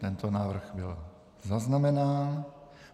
Tento návrh byl zaznamenán.